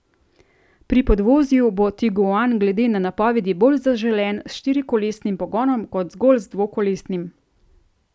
Pri podvozju bo tiguan glede na napovedi bolj zaželen s štirikolesnim pogonom kot zgolj z dvokolesnim.